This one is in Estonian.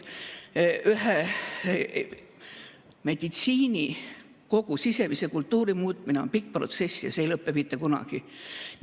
Meditsiinis kogu sisemise kultuuri muutmine on pikk protsess ja see ei lõpe mitte kunagi.